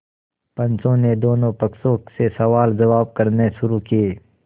पंचों ने दोनों पक्षों से सवालजवाब करने शुरू किये